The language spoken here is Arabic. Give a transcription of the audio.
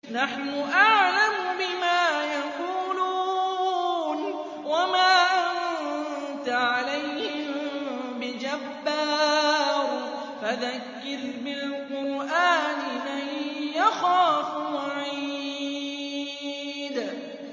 نَّحْنُ أَعْلَمُ بِمَا يَقُولُونَ ۖ وَمَا أَنتَ عَلَيْهِم بِجَبَّارٍ ۖ فَذَكِّرْ بِالْقُرْآنِ مَن يَخَافُ وَعِيدِ